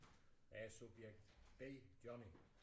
Jeg er subjekt B Johnny